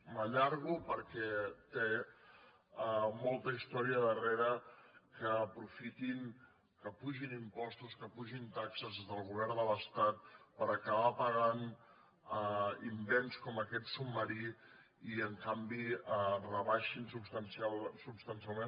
m’allargo perquè té molta història darrera que aprofitin que apugin impostos que apugin taxes del govern de l’estat per acabar pagant invents com aquest submarí i en canvi rebaixin substancialment